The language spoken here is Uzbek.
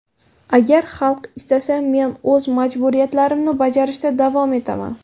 Agar xalq istasa, men o‘z majburiyatlarimni bajarishda davom etaman”.